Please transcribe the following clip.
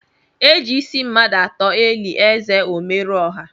Eji ịsị mmadụ atọ eli ézè Omerọọha.